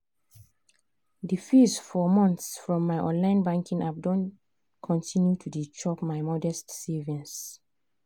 the fees for month from my online banking app don continue to dey chop my modest savings.